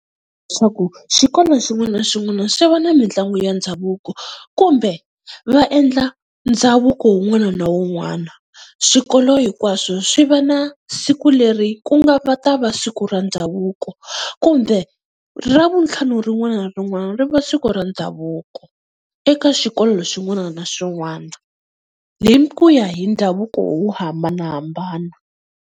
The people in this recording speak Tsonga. Leswaku xikolo xin'wana na xin'wana xi va na mitlangu ya ndhavuko, kumbe va endla ndhavuko wun'wana na wun'wana. Swikolo hinkwaswo swi va na siku leri ku nga va ta va siku ku ra ndhavuko kumbe ra vuntlhanu rin'wana na rin'wana ri va siku ra ndhavuko eka xikolo xin'wana na xin'wana, hi ku ya hi ndhavuko wo hambanahambana.